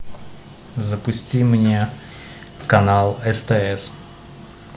запусти мне канал стс